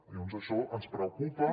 llavors això ens preocupa